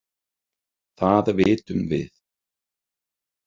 Það vitum við.